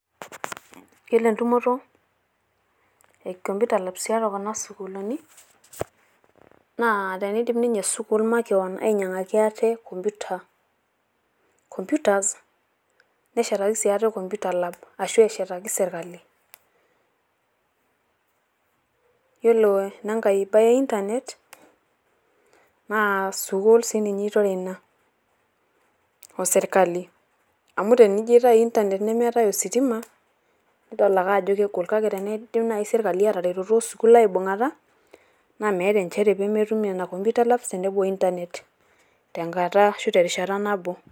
Yiolo entumoto e computer lab tiatua kuna sukuulini naa tenidim ninye sukuul makwon ainyiang`aki ate computers neshetaki sii ate computer lab ashu eshetaki sirkali. Yiolo enankae bae e internet naa sukuul sii ninye eitore ina o sirkali. Amu tenijo aitayu internet nemeetai ositima idol ake ajo kegol. Kake teneidim naaji sirkali aataretoto o sukuul aibung`ata naa meeta nchere pee metum nena computers tenebo o internet tenkata arashu terishata nabo.